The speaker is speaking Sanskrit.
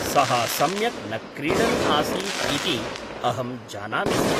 सः सम्यक् न क्रीडन् आसीत् इति अहं जानामि स्म।